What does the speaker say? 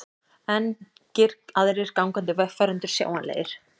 Engir aðrir gangandi vegfarendur sjáanlegir.